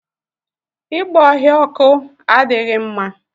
Igba ọhịa ọkụ adịghị mma.